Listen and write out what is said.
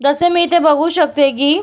जसे मी इथे बघू शकते की --